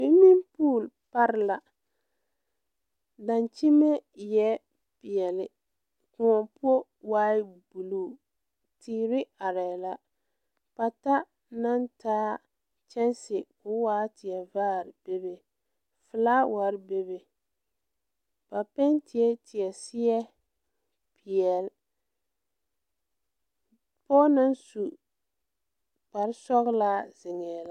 Swimming pool pare la daŋkyime eɛɛ peɛle kõɔ poɔ waai bluu teere arɛɛ la pata naŋ taa kyɛnse ko waa tie vaare bebe flaawarre bebe ba pentiee tie seɛ peɛle pɔɔ naŋ su kparesɔglaa zeŋɛɛ la.